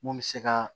Mun bɛ se ka